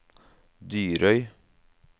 Dyrøy